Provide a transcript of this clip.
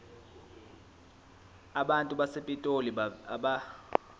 abantu basepitoli abeve